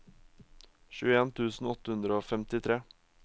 tjueen tusen åtte hundre og femtitre